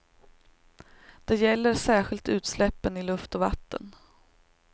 Det gäller särskilt utsläppen i luft och vatten.